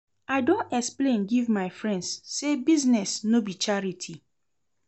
I don explain give my friends sey business no be charity.